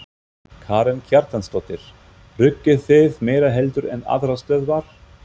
Karen Kjartansdóttir: Rukkið þið meira heldur en aðrar stöðvar?